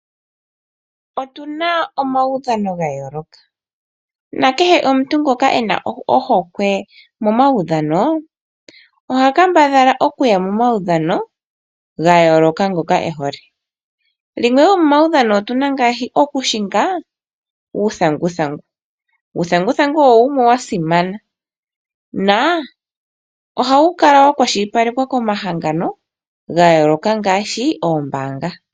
Otuna omaudhano ga yooloka, nakehe omuntu ngoka ena ohokwe momaudhano, oha kambadhala oku ya momaudhano ha yooloka ngoka ehole. Yimwe yomomaudhano otuna mo ngaashi oku hinga uuthanguthangu. Uuthanguthangu owo wumwe wa simana, oha wu kala wa kwashilipalekwa komahangano ga yooloka ngaashi koombaanga.